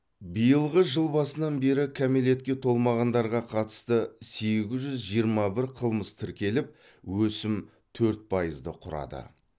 биылғы жыл басынан бері кәмелетке толмағандарға қатысты сегіз жүз жиырма бір қылмыс тіркеліп өсім төрт пайызды құрады